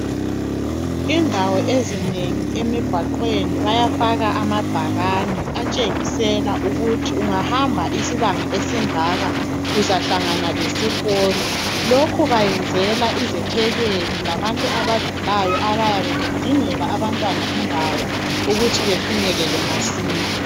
Indawo ezinengi emgwaqweni bayafaka amabhakane atshengisela ukuthi ungahamba isibanga esingaka uzahlangana lesikolo lokho bayenzela izethekeli labantu abadlulayo abayabe bedingela abantwana indawo ukuthi befinyelele masinya.